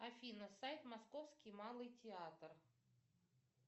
афина сайт московский малый театр